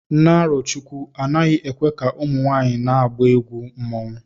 Na Arochukwu, anaghị ekwe ka ụmụ nwanyị na-agba egwu mmanwụ